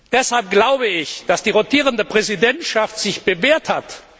Deshalb glaube ich, dass sich die rotierende Präsidentschaft bewährt hat.